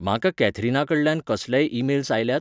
म्हाका कॅथरीनाकडल्यान कसलेय ईमेल्स आयल्यात?